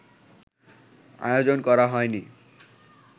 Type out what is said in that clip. আয়োজন করা হয়নি